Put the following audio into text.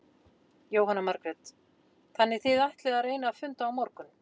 Jóhanna Margrét: Þannig þið ætlið að reyna að funda á morgun?